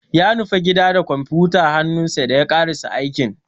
Ya nufi gida da kwamfuyutar hannunsa dan ya karasa aikin.